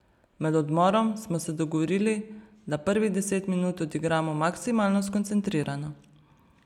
Med odmorom smo se dogovorili, da prvih deset minut odigramo maksimalno skoncentrirano.